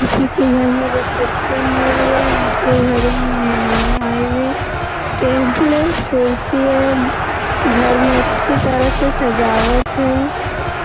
किसी के घर में रिसेप्शन हो रही है उनके घरो में मेहमान आए हुए हैं टेबले हैं कुर्सी हैं घर में अच्छी तरह से सजावट है। --